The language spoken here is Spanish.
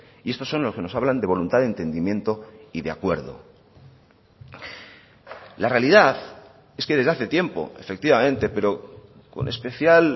y estos son los que nos hablan de voluntad de entendimiento y de acuerdo la realidad es que desde hace tiempo efectivamente pero con especial